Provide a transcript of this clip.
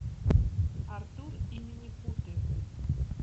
артур и минипуты